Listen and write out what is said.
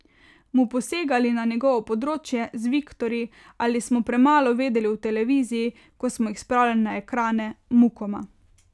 Mu posegali na njegovo področje, z Viktorji, ali smo premalo vedeli o televiziji, ko smo jih spravljali na ekrane, mukoma...